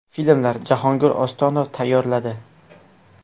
Filmlar: Jahongir Ostonov tayyorladi.